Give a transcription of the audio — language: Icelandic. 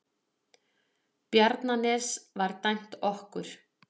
Bjarnanes var dæmt okkur!